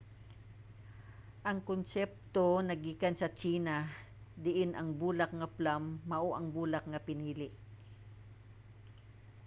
ang konsepto naggikan sa tsina diin ang bulak nga plum mao ang bulak nga pinili